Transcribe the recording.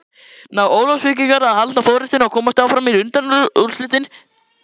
Ná Ólafsvíkingar að halda forystunni og komast áfram í undanúrslitin?